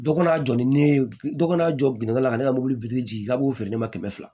Dɔ ka jɔ ni ne ye dɔ ka n'a jɔ biŋala ka ne ka mobili ji k'a b'o feere ne ma kɛmɛ fila